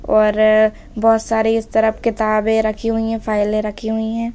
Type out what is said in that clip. और बहोत सारे इस तरफ किताबें रखी हुई है फाइले रखी हुई है।